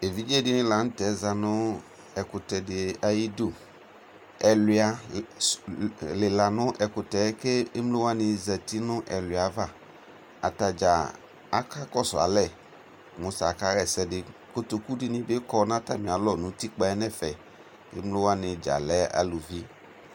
ɛvidzɛ dini lantɛ zanʋ ɛkʋtɛ di ayidʋ, ɛlʋa lila nʋ ɛkʋtɛ kʋ ɛmlɔ wani zati nʋ ɛwlia aɣa, atagya aka kɔsʋ alɛ mʋ ta aka yɛsɛ di, kɔtɔkʋ dini bi kɔnʋ atami alɔ nʋ ʋtikpa ɛƒɛ kʋ ɛmlɔ wani dza lɛ alʋvi